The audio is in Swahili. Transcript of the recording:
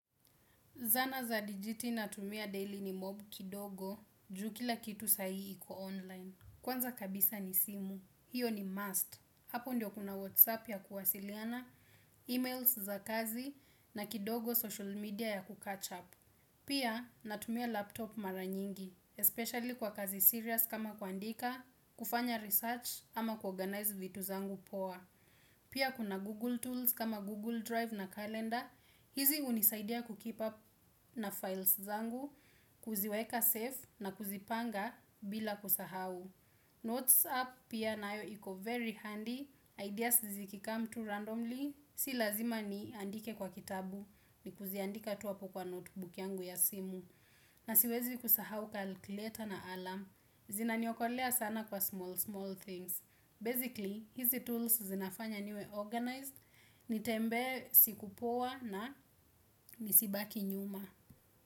Zana za dijiti natumia daily ni mob kidogo juu kila kitu sai iko online. Kwanza kabisa ni simu. Hiyo ni must. Hapo ndio kuna WhatsApp ya kuwasiliana, emails za kazi na kidogo social media ya kucatch up. Pia natumia laptop mara nyingi, especially kwa kazi serious kama kuandika, kufanya research ama kuorganize vitu zangu poa. Pia kuna Google tools kama Google Drive na Calendar, hizi hunisaidia kukeep up na files zangu, kuziweka safe na kuzipanga bila kusahau. Notes app pia nayo iko very handy, ideas ziki come tu randomly, si lazima ni andike kwa kitabu, ni kuziandika tu hapo kwa notebook yangu ya simu, na siwezi kusahau calculator na alarm. Zinaniokolea sana kwa small, small things. Basically, hizi tools zinafanya niwe organized, nitembee siku poa na nisibaki nyuma.